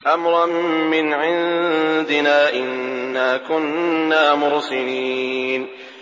أَمْرًا مِّنْ عِندِنَا ۚ إِنَّا كُنَّا مُرْسِلِينَ